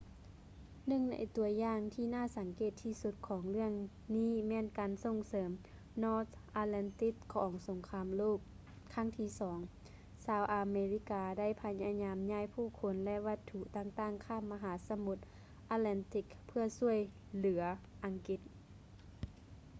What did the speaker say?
ໜຶ່ງໃນຕົວຢ່າງທີ່ໜ້າສັງເກດທີ່ສຸດຂອງເລື່ອງນີ້ແມ່ນການສົ່ງເສີມ north atlantic ຂອງສົງຄາມໂລກຄັ້ງທີ່ ii ຊາວອາເມລິກາໄດ້ພະຍາຍາມຍ້າຍຜູ້ຄົນ ແລະ ວັດຖຸຕ່າງໆຂ້າມມະຫາສະໝຸດ atlantic ເພື່ອຊ່ວຍເຫຼືອອັງກິດ